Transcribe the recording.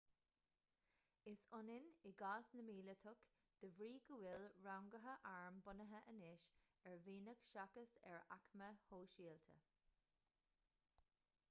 is ionann i gcás na míleatach de bhrí go bhfuil ranguithe airm bunaithe anois ar mhianach seachas ar aicme shóisialta